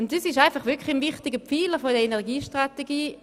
Und das ist wirklich ein wichtiger Pfeiler der Energiestrategie.